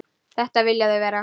Þetta vilja þau vera.